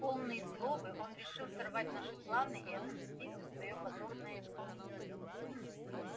полный злобы он решил сорвать наши планы и отомстить за своё позорное изгнание